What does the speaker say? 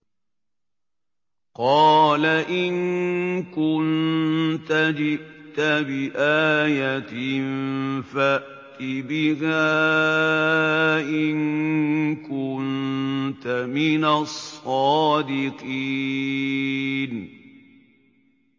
قَالَ إِن كُنتَ جِئْتَ بِآيَةٍ فَأْتِ بِهَا إِن كُنتَ مِنَ الصَّادِقِينَ